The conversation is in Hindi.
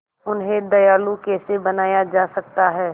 उन्हें दयालु कैसे बनाया जा सकता है